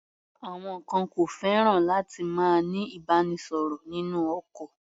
Àwọn kan ò fẹ́ràn láti máa ní ìbánisọ̀rọ̀ nínú ọkọ̀.